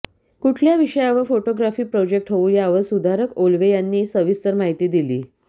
कुठल्या विषयावर photography project होऊ यावर सुधारक ओलवे यांनी सविस्तर माहीती दिली